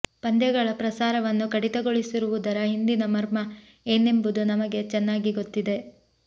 ಪಂದ್ಯಗಳ ಪ್ರಸಾರವನ್ನು ಕಡಿತಗೊಳಿಸಿರುವುದರ ಹಿಂದಿನ ಮರ್ಮ ಏನೆಂಬುದು ನಮಗೆ ಚೆನ್ನಾಗಿ ಗೊತ್ತಿದೆ